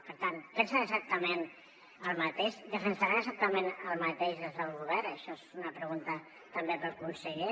per tant pensen exactament el mateix defensaran exactament el mateix des del govern això és una pregunta també per al conseller